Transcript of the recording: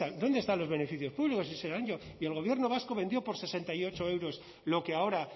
dónde están los beneficios públicos y el gobierno vasco vendió por sesenta y ocho euros lo que ahora